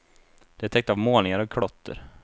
De är täckta av målningar och klotter.